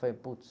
Falei, putz...